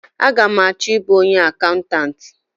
A ga m achọ ịbụ onye akaụntanti?